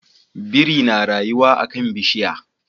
Biri na rayuwa a kan bishiya